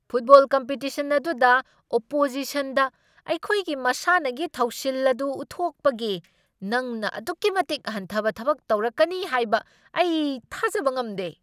Football competition ꯑꯗꯨꯗ ꯑꯣꯄꯣꯖꯤꯁꯟꯗ ꯑꯩꯈꯣꯏꯒꯤ ꯃꯁꯥꯟꯅꯒꯤ ꯊꯧꯁꯤꯜ ꯑꯗꯨ ꯎꯠꯊꯣꯛꯄꯒꯤ ꯅꯪꯅ ꯑꯗꯨꯛꯀꯤ ꯃꯇꯤꯛ ꯍꯟꯊꯕ ꯊꯕꯛ ꯇꯧꯔꯛꯀꯅꯤ ꯍꯥꯏꯕ ꯑꯩ ꯊꯥꯖꯕ ꯉꯝꯗꯦ ꯫